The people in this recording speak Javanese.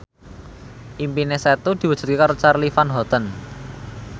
impine Setu diwujudke karo Charly Van Houten